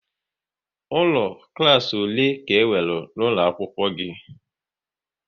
Ụlọ klas ole ka e nwere n'ụlọ akwụkwọ gị?